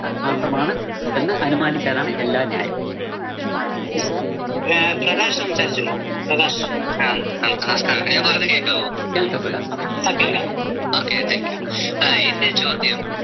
മാത്രമാണ് എന്ന് അനുമാനിക്കനാണ് എല്ലാ ന്യായവും. കേള്‍ക്കാം പ്രകാശ് പറയൂ